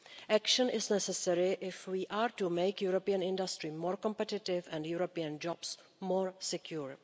Action is necessary if we are to make European industry more competitive and European jobs more secure.